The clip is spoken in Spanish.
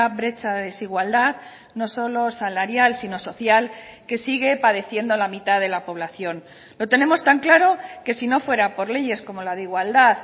brecha de desigualdad no solo salarial sino social que sigue padeciendo la mitad de la población lo tenemos tan claro que si no fuera por leyes como la de igualdad